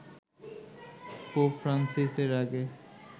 pope Francis এর আগে